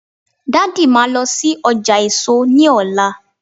daddy ma lo sí ọjà èso ní ọlá